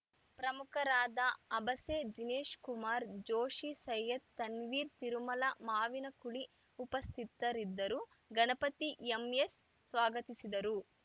ಪ್ರಮುಖರಾದ ಅಬಸೆ ದಿನೇಶಕುಮಾರ್‌ ಜೋಷಿ ಸೈಯದ್‌ ತನ್ವೀರ್‌ ತಿರುಮಲ ಮಾವಿನಕುಳಿ ಉಪಸ್ಥಿತರಿದ್ದರು ಗಣಪತಿ ಎಂಎಸ್‌ಸ್ವಾಗತಿಸಿದರು